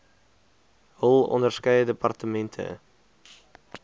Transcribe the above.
hul onderskeie departemente